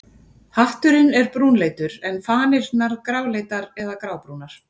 Hatturinn er brúnleitur en fanirnar gráleitar eða grábrúnar.